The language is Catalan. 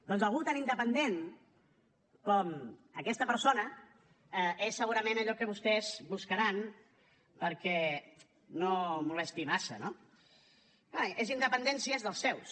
doncs algú tan independent com aquesta persona és segurament allò que vostès buscaran perquè no molesti massa no clar és independent si és dels seus